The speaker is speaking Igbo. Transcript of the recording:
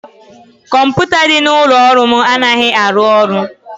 kọmputa dị n'ụlọ ọrụ m anaghị arụ ọrụ